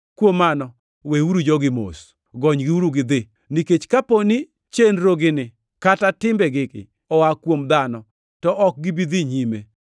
Kuom mano, weuru jogi mos! Gonygiuru gidhi! Nikech kapo ni chenrogi kata timbegigi oa kuom dhano, to ok gibi dhi nyime.